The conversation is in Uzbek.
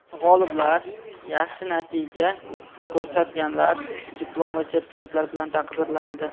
G‘oliblar/yaxshi natija ko‘rsatganlar diplom va sertifikatlar bilan taqdirlanadi.